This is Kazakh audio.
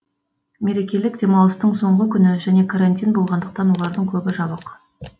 мерекелік демалыстың соңғы күні және карантин болғандықтан олардың көбі жабық